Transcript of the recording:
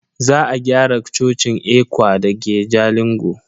Za a gyara cocin ECWA dake Jalingo.